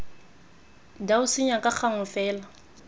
dau senya ka gangwe fela